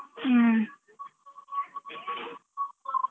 ಹ್ಮ.